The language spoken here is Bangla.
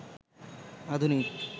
আধুনিক